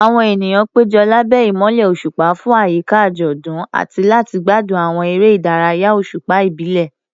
Àwọn ènìyàn péjọ lábẹ́ ìmọ́lẹ̀ òṣùpá fún àyíká àjọ̀dún àti láti gbádùn àwọn eré ìdárayá òṣùpá ìbílẹ̀.